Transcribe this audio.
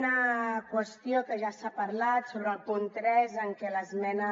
una qüestió que ja s’ha parlat sobre el punt tres en què l’esmena